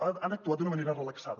han actuat d’una manera relaxada